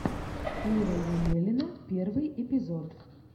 ира емелина первый эпизод